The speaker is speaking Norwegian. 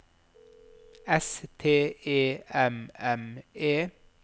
S T E M M E